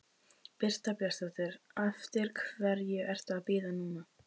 Birta Björnsdóttir: Eftir hverju ertu að bíða núna?